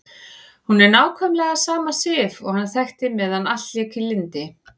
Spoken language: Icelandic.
Hún er nákvæmlega sama Sif og hann þekkti meðan allt lék í lyndi.